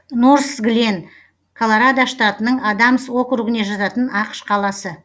норсглен колорадо штатының адамс округіне жататын ақш қаласы